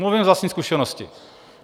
Mluvím z vlastní zkušenosti.